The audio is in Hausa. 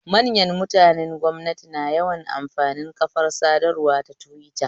Manyan mutanen gwamnati na yawan amfani kafar sadarwa ta tiwita